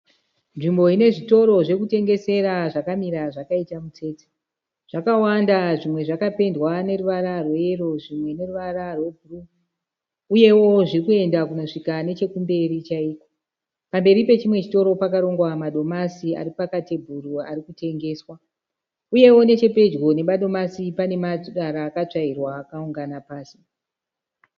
Nzvimbo ine zvitoro zvokutengesera zvakamira zvakaita mutsetse. Zvakawanda zvimwe zvakapendwa neruvara rweyero zvimwe neruvara rwebhuruu. Uyewo zviri kuenda kunosvika nechekumberi chaiko. Pamberi pechimwe chitoro pakarongwa madomasi ari pakatebhuru ari kutengeswa. Uyewo nechepedyo nemadomasi pane marara akatsvairwa akaungana pasi.